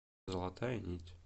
золотая нить